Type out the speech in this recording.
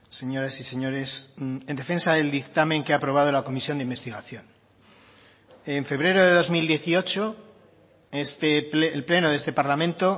señoras y señores en defensa del dictamen que ha aprobado la comisión de investigación en febrero de dos mil dieciocho el pleno de este parlamento